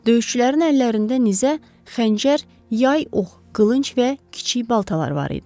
Döyüşçülərin əllərində nizə, xəncər, yay, ox, qılınc və kiçik baltalar var idi.